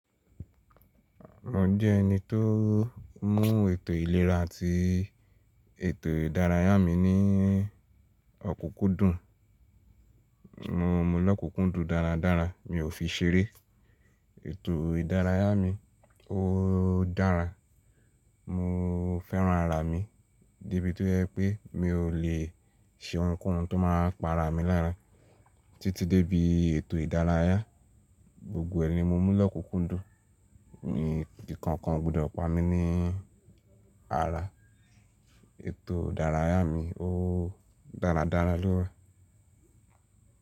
Mo jẹ́ ẹni tó mú ètò ìlera àti ètò ìdárayá mi ní ọ̀kúkúndùn. Mo mú l'ọ̀kúkúndùn dáradára, mi ò fi ṣeré. Ètò ìdárayá mi ó dára. Mo fẹ́ran ara mi, díbi tó yẹ pé mi ò lè ṣe ohunkóhun tó máa pa ara mi lára. Títí débi ètò ìdárayá, gbogbo ẹ̀ní mo mú lọ́kúkúndùn. Mi kíkankàn gbọdọ̀ pa mi ní ara. Ètò ìdárayá mi ó dáradára lóòó.